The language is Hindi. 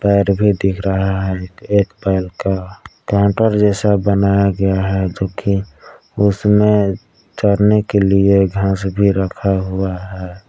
पैर भी दिख रहा है एक बैल का काउंटर जैसा बनाया गया है जो कि उसमें चरने के लिए घास भी रखा हुआ है।